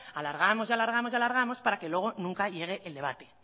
alargamos y alargamos y alargamos para que luego nunca llegue el debate